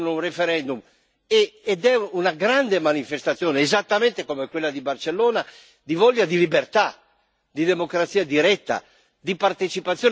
È una grande manifestazione, esattamente come quella di Barcellona, di voglia di libertà, di democrazia diretta, di partecipazione e di rappresentanza.